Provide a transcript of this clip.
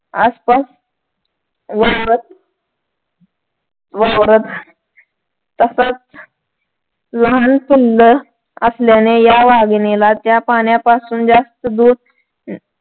आसपास वावरत वावरत तसच लहान समजत असल्याने ह्या वाघिणीला त्या पाण्यापासून जास्त दूर